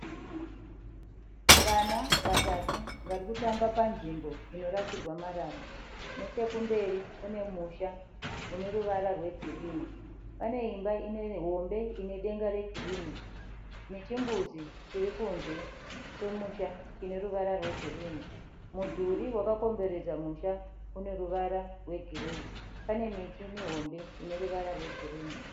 Vana vatatu varikutamba panzvimbo inorasirwa marara. Nechekumberi kune musha uneruvara rwe girinhi. Pane imba hombe ine denga regirinhi. Nechimbuzi chirikunze kwemusha chineruvara rwegirinhi. Mudhuri wakakomberedza musha uneruvara rwe gireyi. Pane miti mihombe ineruvara rwegirinhi.